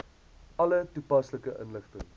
alle toepaslike inligting